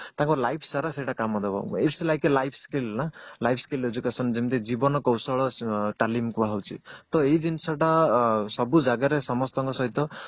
ତାଙ୍କ life ସାରା ସେଟା କାମ ଦବ its like a life skill ନା life skill education ଯେମିତି ଜୀବନ କୌଶଳ ତାଲିମ କୁହା ଯାଉଛି ତ ଏଇ ଜିନିଷ ଟା ସବୁ ଜାଗାରେ ସମସ୍ତଙ୍କ ସହିତ